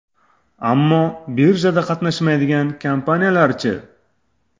Ammo birjada qatnashmaydigan kompaniyalar-chi?